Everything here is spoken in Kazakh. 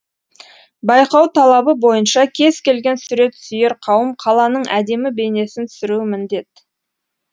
байқау талабы бойынша кез келген сурет сүйер қауым қаланың әдемі бейнесін түсіруі міндет